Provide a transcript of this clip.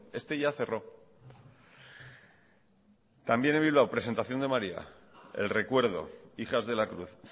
este ya cerró también en bilbao presentación de maría el recuerdo hijas de la cruz